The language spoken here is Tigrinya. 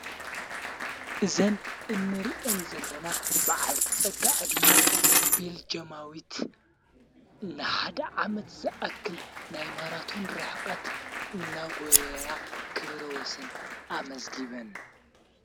ዘን እንርእን ዘለና ብዓልቲ ጸጋዕ ድመ ቤልጀማዊት ንሓደ ዓመት ዘኣክል ናይ ማራቱን ርኅቐት እነጐይያ ክብረወስን ኣመዝጊብን።